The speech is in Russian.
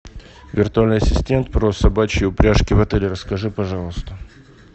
виртуальный ассистент про собачьи упряжки в отеле расскажи пожалуйста